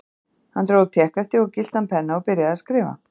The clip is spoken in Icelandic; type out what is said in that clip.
Hann dró upp tékkhefti og gylltan penna og byrjaði að skrifa.